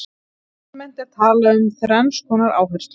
Almennt er talað um þrenns konar áherslur.